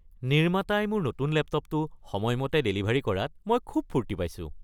নিৰ্মাতাই মোৰ নতুন লেপটপটো সময়মতে ডেলিভাৰী কৰাত মই খুব ফূৰ্তি পাইছোঁ।